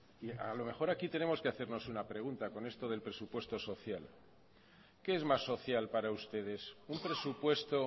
a lo mejor aquí tenemos que hacernos una pregunta con esto del presupuesto social qué es más social para ustedes un presupuesto